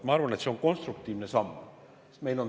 Ma arvan, et see on konstruktiivne samm.